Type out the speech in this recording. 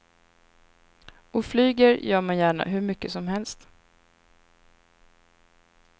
Och flyger gör man gärna hur mycket som helst.